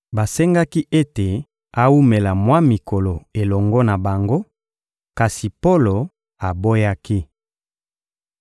Basengaki ete awumela mwa mikolo elongo na bango, kasi Polo aboyaki.